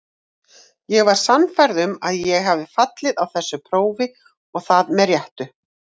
Ég var sannfærð um að ég hefði fallið á þessu prófi og það með réttu.